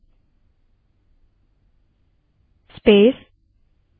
हो सकता है यह command सभी unix systems पर न चले